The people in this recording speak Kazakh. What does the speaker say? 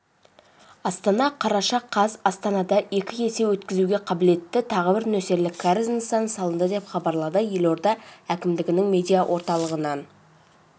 астана қараша қаз астанада екі есе өткізуге қабілетті тағы бір нөсерлік кәріз нысаны салынды деп хабарлады елорда әкімдігінің медиаорталығынан